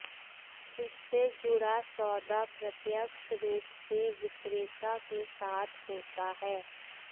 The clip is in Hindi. इससे जुड़ा सौदा प्रत्यक्ष रूप से विक्रेता के साथ होता है